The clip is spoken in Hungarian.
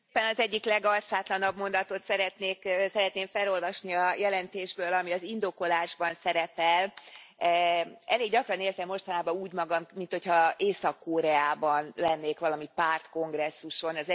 Elnök Úr, talán az egyik legarcátlanabb mondatot szeretném felolvasni a jelentésből, ami az indokolásban szerepel. Elég gyakran érzem mostanában úgy magam, minthogyha Észak Koreában lennék valami pártkongresszuson.